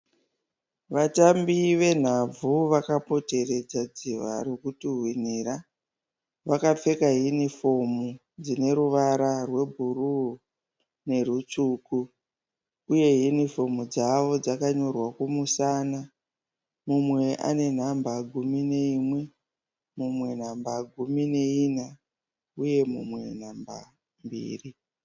Vatambi venhabvu vakapoteredza dziva rokutuhwinira. Vakapfeka hinifomu dzine ruvara rwebhuruu nerutsvuku uye hinifomu dzavo dzakanyorwa kumusana. Mumwe ane namba gumi neimwe, mumwe namba gumi neina uye mumwe namba mbiri.